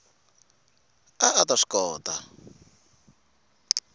a a ta swi kota